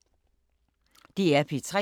DR P3